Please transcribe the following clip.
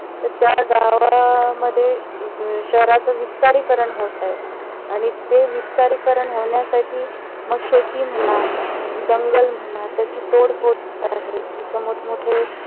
तर त्या गावामध्ये शहराच विस्तारीकरण होत आहे. आणि ते विस्तारीकरण होण्यासाठी मग शेती म्हणा जंगल म्हणा त्याची तोड मोड होत आहे. तिथ मोठ मोठे